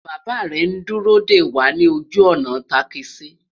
bàbá rè n dúró dé wà nì ojú ònà takisi